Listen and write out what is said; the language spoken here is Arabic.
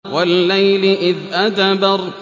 وَاللَّيْلِ إِذْ أَدْبَرَ